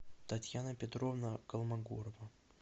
татьяна петровна колмогорова